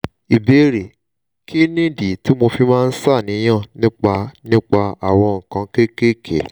ìbéèrè: kí nìdí tí mo fi máa ń ṣàníyàn nípa nípa àwọn nǹkan kéékèèké?